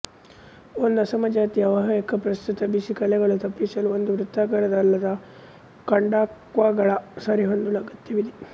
ಒಂದು ಅಸಮಜಾತೀಯ ಅವಾಹಕ ಪ್ರಸ್ತುತ ಬಿಸಿ ಕಲೆಗಳು ತಪ್ಪಿಸಲು ಒಂದು ವೃತ್ತಾಕಾರದ ಅಲ್ಲದ ಕಂಡಕ್ಟರ್ಗಳ ಸರಿಹೊಂದಿಸಲು ಅಗತ್ಯವಿದೆ